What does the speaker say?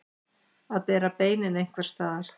Að bera beinin einhvers staðar